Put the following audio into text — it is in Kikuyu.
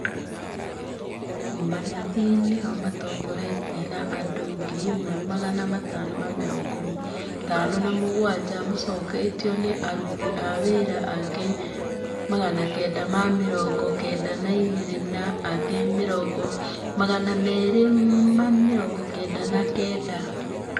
Manathi nĩo matongoretie na andu 1557 macoketũo nĩ aruti a wĩra angĩ 992 na angĩ 299